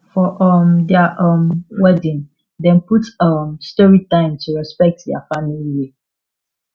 for um their um wedding dem put um story time to respect their family way